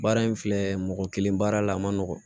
Baara in filɛ mɔgɔ kelen baara la a ma nɔgɔn